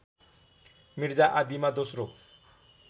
मिर्जा आदिमा दोस्रो